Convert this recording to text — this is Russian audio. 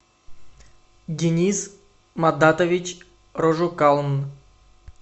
денис мадатович рожукалн